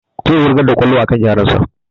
Zai wurga kwallon a kan yaron sa